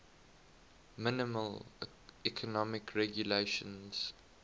minimal economic regulations